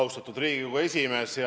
Austatud Riigikogu esimees!